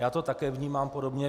Já to také vnímám podobně.